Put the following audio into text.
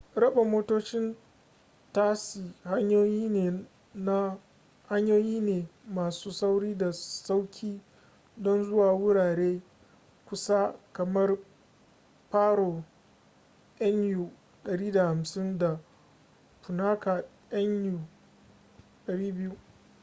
raba motocin tasi hanyoyi ne masu sauri da sauƙi don zuwa wurare kusa kamar paro nu 150 da punakha nu 200